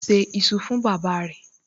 O ṣé iṣu fún bàbáa rẹ̀